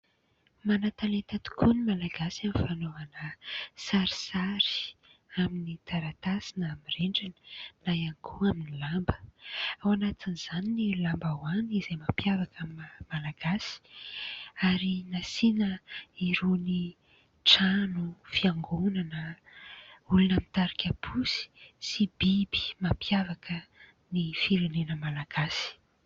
Manan-talenta tokoa ny Malagasy amin'ny fanaovana sarisary amin'ny taratasy na amin'ny rindrina, na ihany koa amin'ny lamba. Ao anatin'izany ny lambahoany, izay mampiavaka ny Malagasy ary nasiana irony trano, fiangonana, olona mitarika posy sy biby mampiavaka ny firenena malagasy.